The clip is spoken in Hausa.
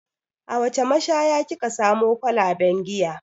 A wace mashaya ki ka samo kwalaben giya?